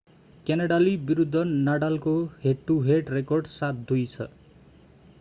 क्यानाडाली विरुद्ध नाडालको head to head record 7-2 छ